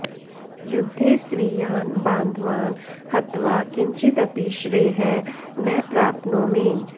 युद्धे स्वीयान् बान्धवान् हत्वा किञ्चिदपि श्रेयः न प्राप्नोमि